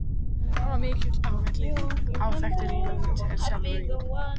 Hann var mikill á velli, áþekkur Lúter sjálfum í útliti.